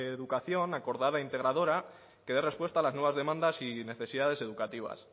educación acordada e integradora que dé respuesta a las nuevas demandas y necesidades educativas